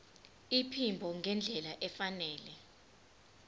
iphimbo ngendlela efanele